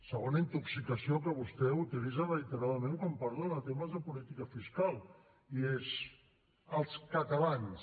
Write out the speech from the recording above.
segona intoxicació que vostè utilitza reiteradament quan parla de temes de política fiscal i és els catalans